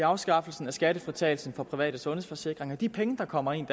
afskaffelsen af skattefritagelsen for private sundhedsforsikringer de penge der kommer ind